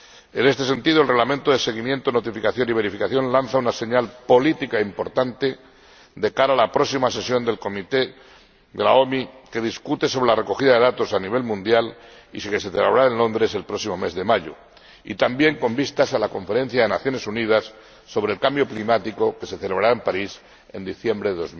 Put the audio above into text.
En este sentido, el Reglamento de seguimiento, notificación y verificación lanza una señal política importante de cara a la próxima sesión del Comité de la OMI, que discutirá sobre la recogida de datos a nivel mundial y que se celebrará en Londres el próximo mes de mayo, y también con vistas a la Conferencia de las Naciones Unidas sobre el Cambio Climático que se celebrará en París en diciembre de